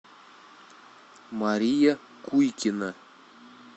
мария куйкина